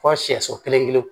Fɔ siyɛso kelen